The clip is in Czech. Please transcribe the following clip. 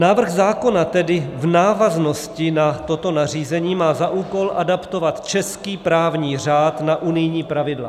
Návrh zákona tedy v návaznosti na toto nařízení má za úkol adaptovat český právní řád na unijní pravidla.